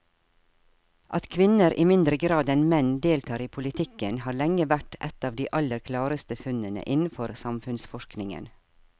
At kvinner i mindre grad enn menn deltar i politikken har lenge vært et av de aller klareste funnene innenfor samfunnsforskningen.